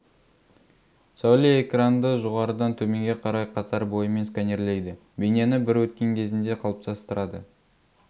сәуле экранды жоғарыдан төменге қарай қатар бойымен сканерлейді бейнені бір өткен кезінде қалыптастырады